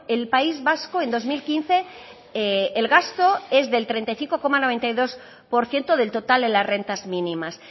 el país vasco en dos mil quince el gasto es del treinta y cinco coma noventa y dos por ciento del total en las rentas mínimas